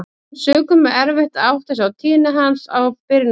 Af þeim sökum er erfitt að átta sig á tíðni hans á byrjunarstigi.